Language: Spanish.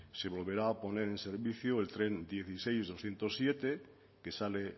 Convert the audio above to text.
se volverá a poner en servicio el tren dieciséis mil doscientos siete que sale